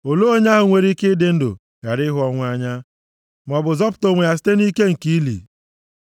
Olee onye ahụ nwere ike ịdị ndụ ghara ịhụ ọnwụ anya, maọbụ zọpụta onwe ya site nʼike nke ili + 89:48 Ya bụ, ala mmụọ? Sela